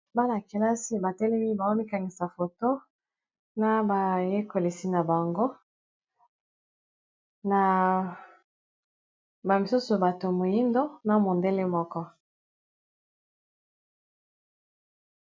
Bala kelasi batelemi bao mikangisa foto na bayekolisi na bango na ba misusu bato moyindo na mondele moko.